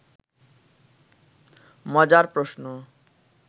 মজার প্রশ্ন